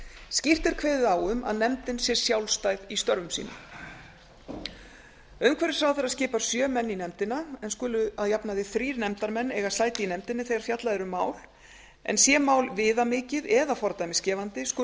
skýrt er kveðið á um að nefndin sé sjálfstæð í störfum sínum umhverfisráðherra skipar sjö menn í nefndina en skulu að jafnaði þrír nefndarmenn eiga sæti í nefndinni eiga fjallað er um mál en sé mál viðamikið eða fordæmisgefandi skulu